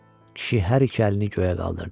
Kişi hər iki əlini göyə qaldırdı.